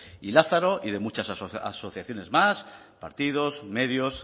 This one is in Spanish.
y lázaro y de muchas asociaciones más partidos medios